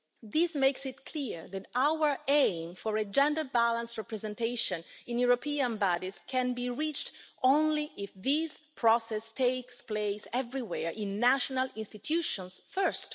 This makes it clear that our aim for a gender balanced representation in European bodies can be reached only if this process takes place everywhere in national institutions first.